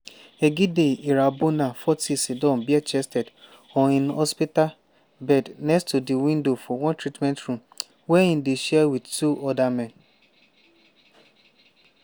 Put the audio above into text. egide irambona forty siddon bare-chested on im hospital bed next to di window for one treatment room wey e dey share wit two oda men.